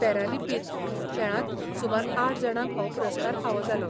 Paralympic खेळांत सुमार आठ जाणांक हो पुरस्कार फावो जालो.